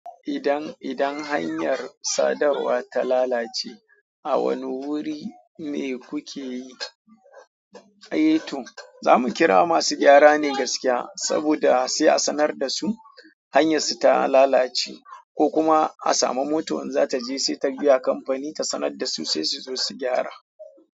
Idan, idan hanyar sadarwa ta lalace, a wane wuri ne kuke yi? Eh toh, zamu kira masu gyara ne gaskiya, saboda sai a sanar da su hanyarsu ta lalace ko kuma a samu moto in zata je sai ta biya kamfani ta sanar da su sai su zo su gyara.